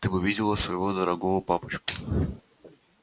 ты бы видела своего дорогого папочку